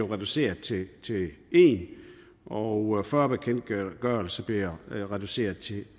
reduceret til en og og fyrre bekendtgørelser bliver reduceret til